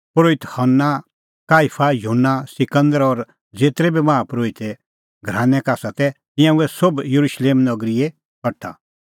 परोहित हन्ना काईफा युहन्ना सिकंदर और ज़ेतरै बी माहा परोहिते घरानै का तै तिंयां हुऐ सोभ येरुशलेम नगरीए कठा